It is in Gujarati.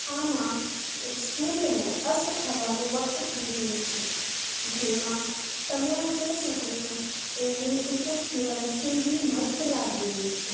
આમાં એક સૂર્ય નું અસ્ત થવાનું વક્ત થઇ ગયું છે. જેમાં તમે આ જોઈ શકો છો તેની એક એક કિરણ કેવી મસ્ત લાગે રિયે છે.